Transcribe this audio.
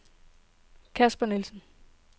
Casper Nielsen